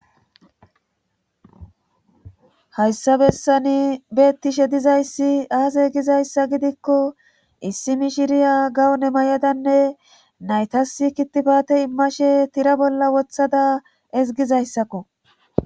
Hayssa bessani beettishe dizayssi aaze gizayssa gidikko issimi shiriya gawone may7adanne naytasi kitipate immashe tira bolla wothada ezgizayssakko